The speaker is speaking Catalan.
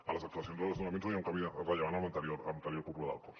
a les actuacions als desnonaments no hi ha un canvi rellevant amb l’anterior anterior cúpula del cos